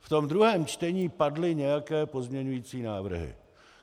V tom druhém čtení padly nějaké pozměňovací návrhy.